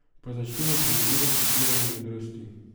Pa začnimo pri izviru citirane modrosti.